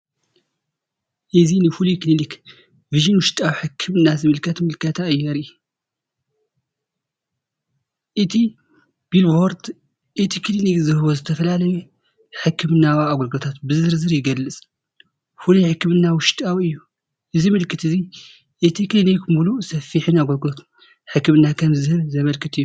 እዚ ንፍሉይ ክሊኒክ "ቪዥን" ውሽጣዊ ሕክምና ዝምልከት ምልክታ የርኢ። እቲ ቢልቦርድ፡ እቲ ክሊኒክ ዝህቦ ዝተፈላለየ ሕክምናዊ ኣገልግሎታት ብዝርዝር ይገልጽ። ፍሉይ ሕክምና ውሽጣዊ እዩ። እዚ ምልክት እዚ እቲ ክሊኒክ ምሉእን ሰፊሕን ኣገልግሎት ሕክምና ከም ዝህብ ዘመልክት እዩ።